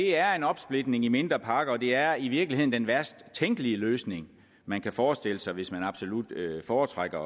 er en opsplitning i mindre pakker og det er i virkeligheden den værst tænkelige løsning man kan forestille sig hvis man absolut foretrækker